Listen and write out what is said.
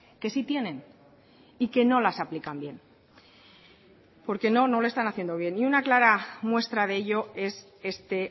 que sí tienen y que no las aplican bien porque no no lo están haciendo bien y una clara muestra de ello es este